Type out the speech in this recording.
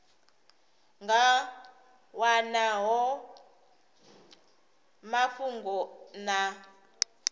nga wana hone mafhungo na